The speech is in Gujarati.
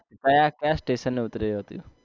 ક્યાં ક્યાં station એ ઉતર્યો તો